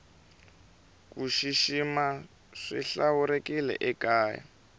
kushishima swihlawurekile ekaya